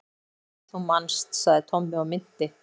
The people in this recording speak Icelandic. Hún er svo dularfull, þú manst sagði Tommi og minnti